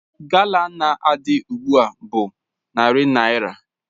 Gala na-adị ugbu a bụ narị naira.